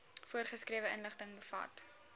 voorgeskrewe inligting bevat